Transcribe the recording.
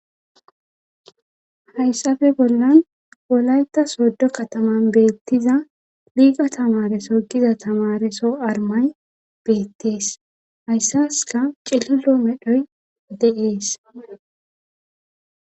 Hayssafe bollan wolayta soddo kataman beettiza liiga tamareso giza tamareso armay beettees hayssaska qillilo medhoy deees